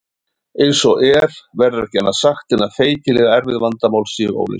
Eins og er verður ekki annað sagt en að feikilega erfið vandamál séu óleyst.